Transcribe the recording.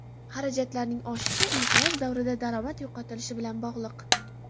Xarajatlarning oshishi inqiroz davrida daromad yo‘qotilishi bilan bog‘liq.